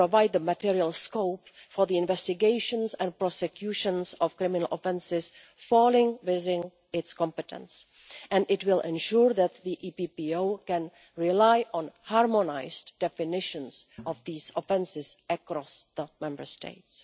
will provide the material scope for the investigations and prosecutions of criminal offences falling within its competence, and will ensure that the EPPO can rely on harmonised definitions of these offences across the Member States.